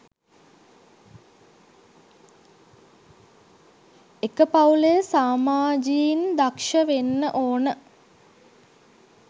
එක පවුලේ සාමාජියින් දක්ෂ වෙන්න ඕන